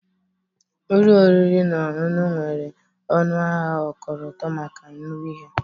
Ụlọ oriri na ọṅụṅụ nwere ọnụahịa ọkọlọtọ maka nri ha